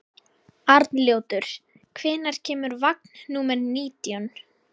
Arnljótur, hvenær kemur vagn númer nítján?